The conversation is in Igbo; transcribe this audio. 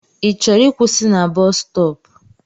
I chọrọ ịkwụsị na bọs stọọpu?